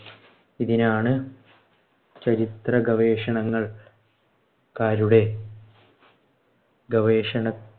ഇതിനാണ് ചരിത്രഗവേഷണങ്ങൾ ക്കാരുടെ ഗവേഷണ